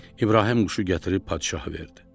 İbrahim quşu gətirib padşaha verdi.